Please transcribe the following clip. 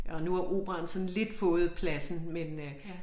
Og nu er operaen sådan lidt fået pladsen men øh